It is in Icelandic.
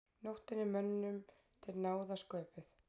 Nóttin er mönnum til náða sköpuð.